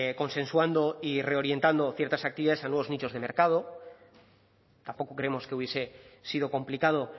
consensuando y reorientando ciertas actividades a nuevos nichos de mercado tampoco creemos que hubiese sido complicado